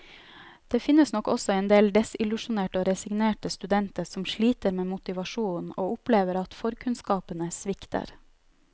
Men det finnes nok også endel desillusjonerte og resignerte studenter, som sliter med motivasjonen og opplever at forkunnskapene svikter.